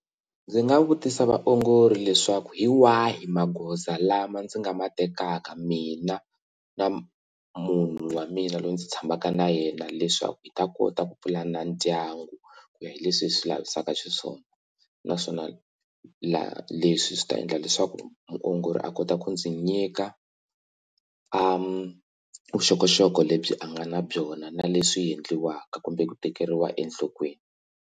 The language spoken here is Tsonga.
Ndzi nga vutisa vaongori leswaku hi wahi magoza lama ndzi nga ma tekaka mina na munhu wa mina loyi ndzi tshamaka na yena leswaku hi ta kota ku pulana ndyangu ku ya hi leswi hi swi lavisaka xiswona naswona leswi swi ta endla leswaku muongori a kota ku ndzi nyika vuxokoxoko lebyi a nga na byona na leswi endliwaka kumbe ku tekeriwa enhlokweni.